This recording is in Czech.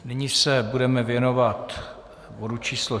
Nyní se budeme věnovat bodu číslo